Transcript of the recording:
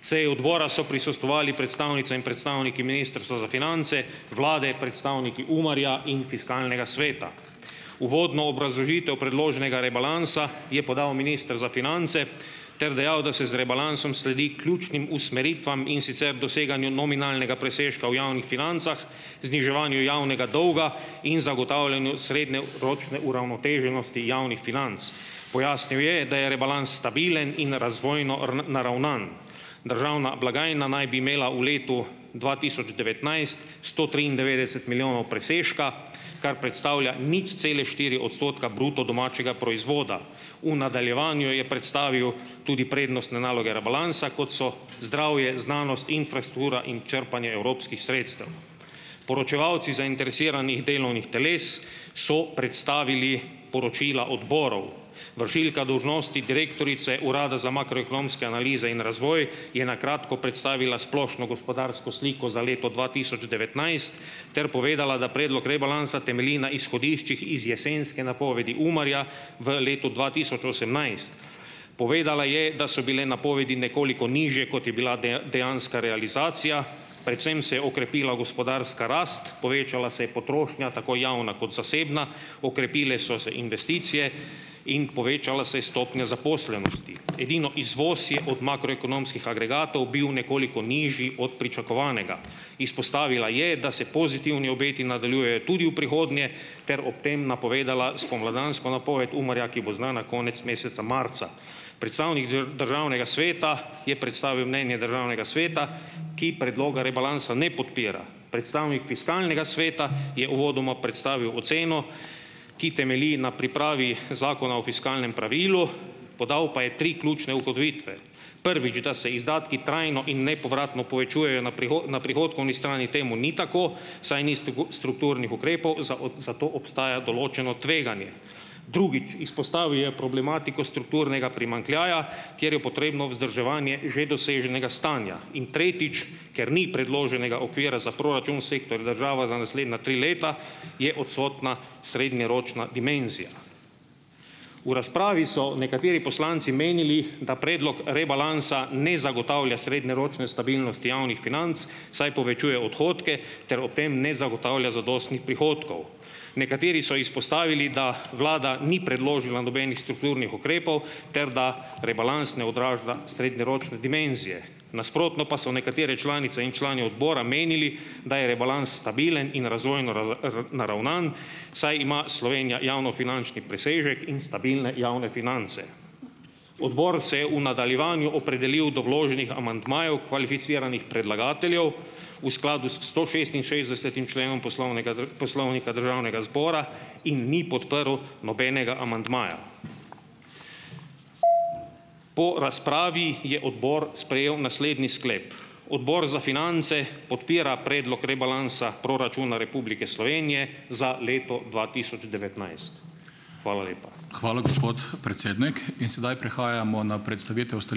Seji odbora so prisostvovali predstavnice in predstavniki Ministrstva za finance, vlade, predstavniki UMAR-ja in Fiskalnega sveta. Uvodno obrazložitev predloženega rebalansa je podal minister za finance ter dejal, da se z rebalansom sledi ključnim usmeritvam, in sicer doseganju nominalnega presežka v javnih financah, zniževanju javnega dolga in zagotavljanju srednjeročne uravnoteženosti javnih financ. Pojasnil je, da je rebalans stabilen in razvojno naravnan. Državna blagajna naj bi imela V letu dva tisoč devetnajst sto triindevetdeset milijonov presežka, kar predstavlja nič cele štiri odstotka bruto domačega proizvoda. V nadaljevanju je predstavil tudi prednostne naloge rebalansa, kot so zdravje, znanost, infrastruktura in črpanje evropskih sredstev. Poročevalci zainteresiranih delovnih teles so predstavili poročila odborov. Vršilka dolžnosti direktorice Urada za makroekonomske analize in razvoj je na kratko predstavila splošno gospodarsko sliko za leto dva tisoč devetnajst, ter povedala, da predlog rebalansa temelji na izhodiščih iz jesenske napovedi UMAR-ja v letu dva tisoč osemnajst. Povedala je, da so bile napovedi nekoliko nižje, kot je bila dejanska realizacija, predvsem se je okrepila gospodarska rast, povečala se je potrošnja - tako javna kot zasebna, okrepile so se investicije in povečala se je stopnja zaposlenosti. Edino izvoz je od makroekonomskih agregatov bil nekoliko nižji od pričakovanega. Izpostavila je, da se pozitivni obeti nadaljujejo tudi v prihodnje ter ob tem napovedala spomladansko napoved UMAR-ja, ki bo znana konec meseca marca. Predstavnik državnega sveta je predstavil mnenje državnega sveta, ki predloga rebalansa ne podpira. Predstavnik Fiskalnega sveta je uvodoma predstavil oceno, ki temelji na pripravi Zakona o fiskalnem pravilu, podal pa je tri ključne ugotovitve. prvič, da se izdatki trajno in nepovratno povečujejo - na na prihodkovni strani temu ni tako, saj ni strukturnih ukrepov, za zato obstaja določeno tveganje. drugič; izpostavil je problematiko strukturnega primanjkljaja, kjer je potrebno vzdrževanje že doseženega stanja. In tretjič, ker ni predloženega okvira za proračun sektor država za naslednja tri leta, je odsotna srednjeročna dimenzija. V razpravi so nekateri poslanci menili, da predlog rebalansa ne zagotavlja srednjeročne stabilnosti javnih financ, saj povečuje odhodke ter ob tem ne zagotavlja zadostnih prihodkov. Nekateri so izpostavili, da vlada ni predložila nobenih strukturnih ukrepov ter da rebalans ne odraža srednjeročne dimenzije. Nasprotno pa so nekatere članice in člani odbora menili, da je rebalans stabilen in razvojno naravnan, saj ima Slovenija javnofinančni presežek in stabilne javne finance. Odbor se je v nadaljevanju opredelil do vloženih amandmajev kvalificiranih predlagateljev v skladu s stošestinšestdesetim členom poslovnega poslovnika državnega zbora in ni podprl nobenega amandmaja. Po razpravi je odbor sprejel naslednji sklep: Odbor za finance podpira Predlog rebalansa proračuna Republike Slovenije za leto dva tisoč devetnajst. Hvala lepa.